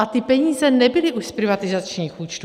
A ty peníze nebyly už z privatizačních účtů.